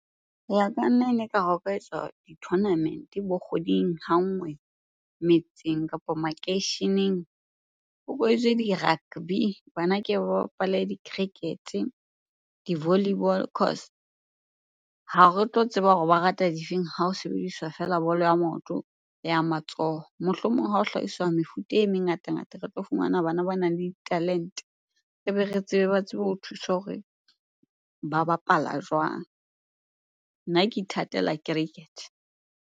Ho ya ka nna ene ekare ho ka etswa di-tournament bo kgweding ha nngwe metseng kapa makeisheneng. Ho bo etswe di-rugby, bana ke ba bapale di-cricket-e, di-volleyball . Ha re tlo tseba hore ba rata difeng ha ho sebediswa feela bolo ya maoto le ya matsoho. Mohlomong ha o hlahiswa mefuta e mengatangata, re tlo fumana bana ba nang le talente ebe re tsebe ba tsebe ho thuswa hore ba bapala jwang? Nna ke ithatela cricket.